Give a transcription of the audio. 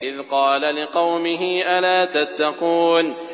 إِذْ قَالَ لِقَوْمِهِ أَلَا تَتَّقُونَ